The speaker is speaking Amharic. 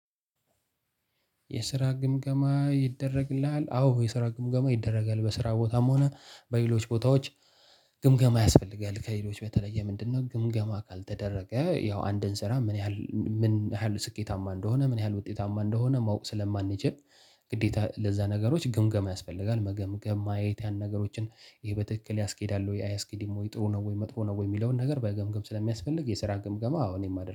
የስራ ግምገማ ይደረግልሃል? አዎ የስራ ግምገማ ይደረጋል። በስራ ቦታም ሆነ በሌሎች ቦታዎች ግምገማ ያስፈልጋል። ከሌሎች በተለየ ምንድነው ግምገማ ካልተደረገ ያው አንድን ስራ ምን ያህል ምን ያህል ስኬታማ እንደሆነ፣ ምን ያህል ውጤታማ እንደሆነ ማወቅ ስለማንችል ግዴታ ለዛ ነገሮች ግምገማ ያስፈልጋል። መገምገም፣ ማየት፣ ያን ነገሮችን ይሄ በትክክል ያስኬዳል ወይ አያስኬድም ወይ ጥሩ ነው ወይ መጥፎ ነው ወይ የሚለውን ነገር መገምገም ስለሚያስፈልግ የስራ ግምገማ አዎ እኔም አደርጋለሁ።